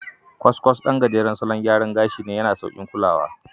Kwaskwas ɗan gajeren salon gyara gashi ne, yana da sauƙin kaulawa.